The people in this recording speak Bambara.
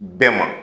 Bɛɛ ma